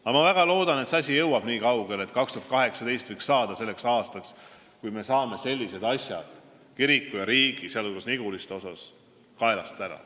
Aga ma väga loodan, et see asi jõuab nii kaugele, et 2018 võiks saada selleks aastaks, kui me saame sellised kiriku ja riigi asjad, sh Niguliste küsimuse kaelast ära.